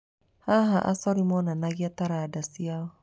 Haha, acori monanagia taranda ciao.